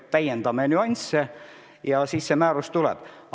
Täiendame nüansse ja siis see määrus tuleb.